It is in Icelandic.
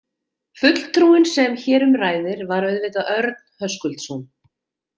Fulltrúinn sem hér um ræðir, var auðvitað Örn Höskuldsson.